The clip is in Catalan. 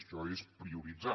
això és prioritzar